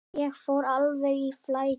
Ég fór alveg í flækju.